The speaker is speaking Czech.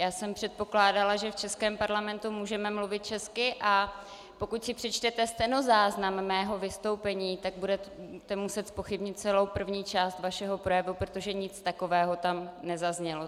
Já jsem předpokládala, že v českém parlamentu můžeme mluvit česky, a pokud si přečtete stenozáznam mého vystoupení, tak budete muset zpochybnit celou první část vašeho projevu, protože nic takového tam nezaznělo.